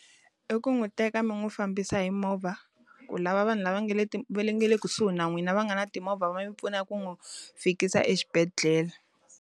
I ku n'wi teka mi n'wi fambisa hi movha, ku lava vanhu lava nga le va nga le kusuhi na n'wina va nga na timovha va yi pfuna ku n'wi fikisa exibedhela.